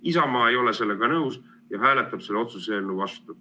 Isamaa ei ole sellega nõus ja hääletab selle otsuse eelnõu vastu.